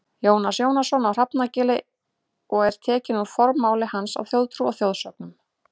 Jónas Jónasson á Hrafnagili og er tekinn úr formála hans að Þjóðtrú og þjóðsögnum.